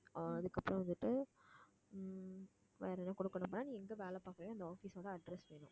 அதுக்கப்புறம் வந்துட்டு உம் வேற எதுவும் கொடுக்கணும்ன்னா மா நீ எங்க வேலை பார்க்கிறியோ அந்த office ஓட address வேணும்